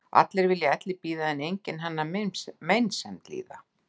Allir vilja elli bíða en enginn hennar meinsemd að líða.